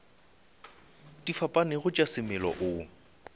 di fapanego tša semela o